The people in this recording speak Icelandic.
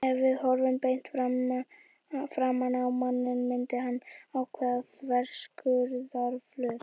Ef við horfum beint framan á manninn myndar hann ákveðinn þverskurðarflöt.